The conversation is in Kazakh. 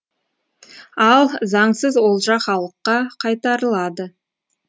ал заңсыз олжа халыққа қайтарылады